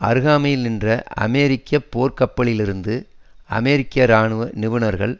அருகாமையில் நின்ற அமெரிக்க போர்க்கப்பலிலிருந்து அமெரிக்க ராணுவ நிபுணர்கள்